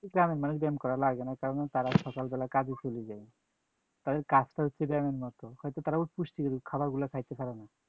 গ্রামের মানুষ ব্যায়াম করা লাগে না কারণ হচ্ছে তারা সকালবেলা কাজে চলে যায়, তাদের কাজটা হচ্ছে ব্যায়ামের মতো, হয়তো তারা পুষ্টিকর খাবারগুলা খাইতে পারে না